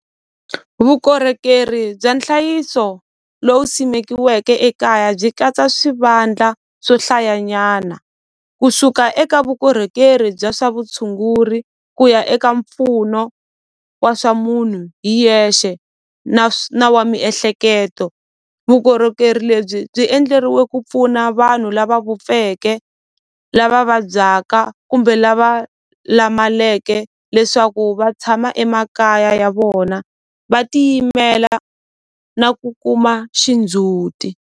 Vukorhokeri bya nhlayiso lowu simekiweke ekaya byi katsa swivandla swo hlayanyana kusuka eka vukorhokeri bya swa vutshunguri ku ya eka mpfuno wa swa munhu hi yexe na na wa miehleketo vukorhokeri lebyi byi endleriwe ku pfuna vanhu lava vupfeke lava vabyaka kumbe lava lamaleke leswaku va tshama emakaya ya vona va tiyimela na ku kuma xindzhuti.